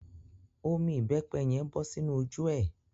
Omi ìbẹ́pẹ́ yen bọ sínu ojú é.